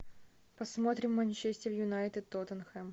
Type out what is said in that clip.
посмотрим манчестер юнайтед тоттенхэм